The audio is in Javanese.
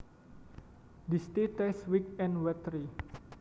This tea tastes weak and watery